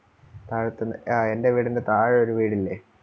താഴത്തെ, ആ എൻ്റെ വീടിന്റെ താഴെ ഒരു വീടില്ലേ